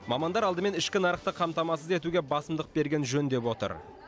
мамандар алдымен ішкі нарықты қамтамасыз етуге басымдық берген жөн деп отыр